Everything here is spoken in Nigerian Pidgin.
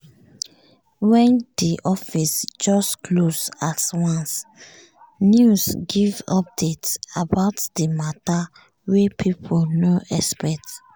wen di office just close at once news give update about di matter wey people nor expect.